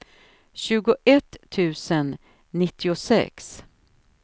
tjugoett tusen nittiosex